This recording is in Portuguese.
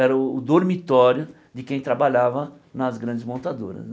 Era o o dormitório de quem trabalhava nas grandes montadoras né.